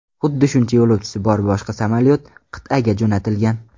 Xuddi shuncha yo‘lovchisi bor boshqa samolyot qit’aga jo‘natilgan.